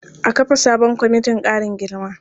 A kafa sabon kwamitin ƙarin girma.